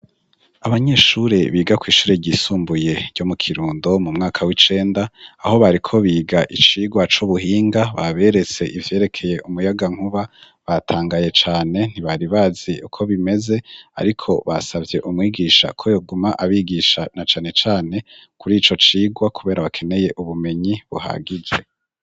Abanyeshure biga kw'ishure ryisumbuye ryo mu Kirundo mu mwaka w'icenda aho bariko biga icigwa c'ubuhinga baberetse ivyerekeye umuyagankuba batangaye cane ntibari bazi uko bimeze ariko basavye umwigisha ko yoguma abigisha na cane cane kuri ico cigwa kubera bakeneye ubumenyi buhagije.